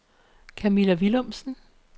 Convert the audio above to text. Kamilla Villumsen